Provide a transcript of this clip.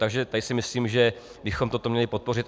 Takže tady si myslím, že bychom toto měli podpořit.